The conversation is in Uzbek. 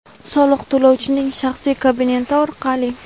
soliq to‘lovchining shaxsiy kabineti orqali;.